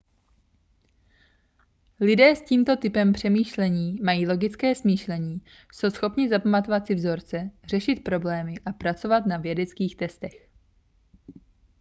lidé s tímto typem přemýšlení mají logické smýšlení jsou schopni zapamatovat si vzorce řešit problémy a pracovat na vědeckých testech